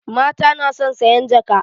Mata na son sayan jaka